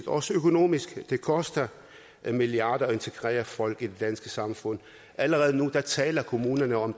også økonomisk det koster milliarder at integrere folk i det danske samfund og allerede nu taler kommunerne om